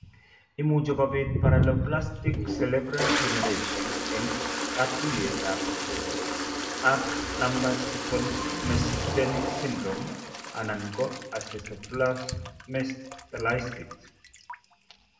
Imuchi kobit Paraneoplastic cerebellar degeneration eng' katuiyetabge ak Lambert Eaton myasthenic syndrome anan ko encephalomyelitis.